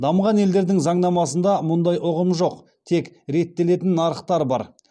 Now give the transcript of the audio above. дамыған елдердің заңнамасында мұндай ұғым жоқ тек реттелетін нарықтар бар